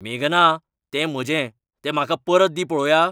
मेघना, तें म्हजें, तें म्हाका परत दी पळोवया!